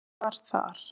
Það var þar.